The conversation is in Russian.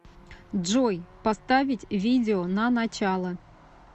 джой поставить видео на начало